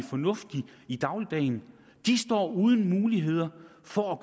fornuftigt i dagligdagen står uden mulighed for at